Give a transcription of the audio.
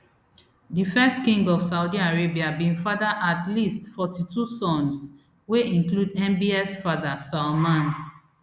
di first king of saudi arabia bin father at least forty-two sons wey include mbs father salman